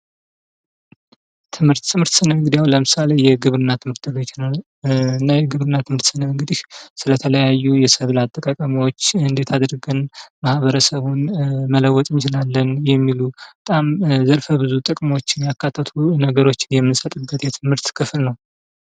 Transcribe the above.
ትምህርት ትምህርት ስንል እንግዲህ አሁን ምሳሌ የግብርና ትምህርት ቤት የግብርና ትምህርት ስንል እንግዲህ ስለ ተለያዩ የሰብል አጠቃቀሞች እንዴት አድርገን ማህበረሰቡን መለወጥ እንችላለን የሚሉ በጣም ዘርፈብዙ ጥቅሞችን ያካተቱ ነገሮች የምንሰጥበት የትምህርት ክፍል ነው።